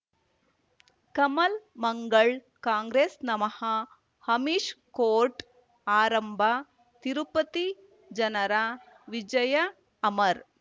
ಕಮಲ್ ಮಂಗಳ್ ಕಾಂಗ್ರೆಸ್ ನಮಃ ಅಮಿಷ್ ಕೋರ್ಟ್ ಆರಂಭ ತಿರುಪತಿ ಜನರ ವಿಜಯ ಅಮರ್